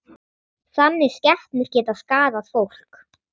Þannig skepnur geta skaðað fólk.